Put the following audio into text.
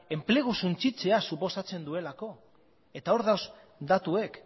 enplegua suntsitzea suposatzen duelako hor daude datuak